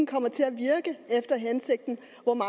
komme til at virke efter hensigten